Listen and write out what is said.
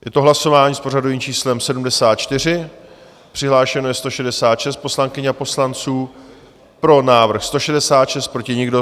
Je to hlasování s pořadovým číslem 74, přihlášeno je 166 poslankyň a poslanců, pro návrh 166, proti nikdo.